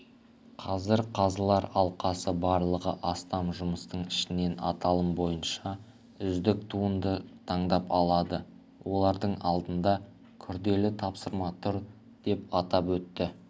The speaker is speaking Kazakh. қазір қазылар алқасы барлығы астам жұмыстың ішінен аталым бойынша үздік туындыны таңдап алады олардың алдында күрделі тапсырма тұр деп атап өтті